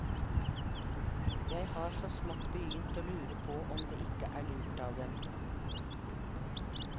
Jeg har så smått begynt å lure på om det ikke er lurt av dem.